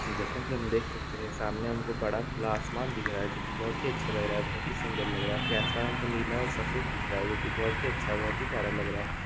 जेसा की हम देख सकते है के सामने हम को बड़ा खुला आसमान दिख रहा है जो की बहुत ही अच्छा लग रहा है बहुत ही सुंदर लग रहा है आसमान को नीला और सफेद दिख रहा है वो भी बहुत ही अच्छा बहुत ही प्यारा लग रहा है।